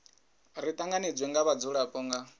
ri tanganedzwe nga vhadzulapo nga